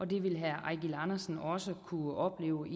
det vil herre eigil andersen også kunne opleve